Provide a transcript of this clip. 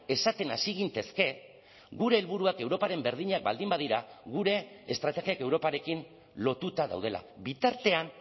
esaten hasi gintezke gure helburuak europaren berdinak baldin badira gure estrategiak europarekin lotuta daudela bitartean